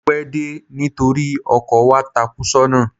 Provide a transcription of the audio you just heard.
Mo pẹ́ dé nítorí ọkọ̀ wa takú sọ́nà.